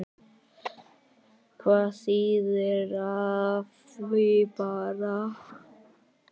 Hvað þýðir af því bara?